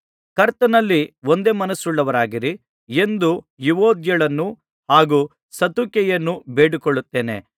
ಕರ್ತನಲ್ಲಿ ಒಂದೇ ಮನಸ್ಸುಳ್ಳವರಾಗಿರಿ ಎಂದು ಯುವೊದ್ಯಳನ್ನೂ ಹಾಗೂ ಸಂತುಕೆಯನ್ನೂ ಬೇಡಿಕೊಳ್ಳುತ್ತೇನೆ